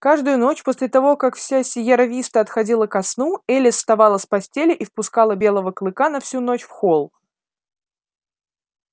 каждую ночь после того как вся сиерра виста отходила ко сну элис вставала с постели и впускала белого клыка на всю ночь в холл